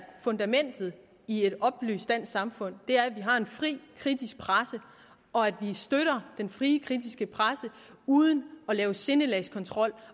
fundamentet i et oplyst dansk samfund er at vi har en fri kritisk presse og at vi støtter den frie kritiske presse uden at lave sindelagskontrol